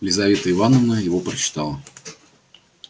лизавета ивановна его прочитала